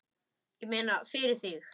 Ég meina, fyrir þig.